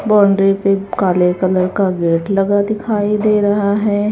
Boundary पे काले colour का गेट लगा दिखाई दे रहा है।